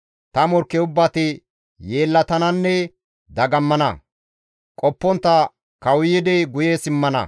Ta morkke ubbati yeellatananne dagammana; qoppontta kawuyidi guye simmana.